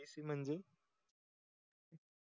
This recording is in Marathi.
abc म्हणजे